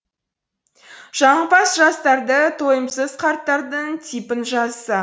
жағымпаз жастарды тойымсыз қарттардың типін жазса